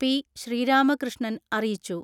P. Sreeramakrishnan അറിയിച്ചു.